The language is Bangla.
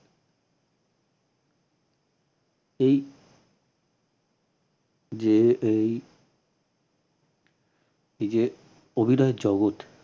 এই যে এই এই যে অভিনয় জগৎ।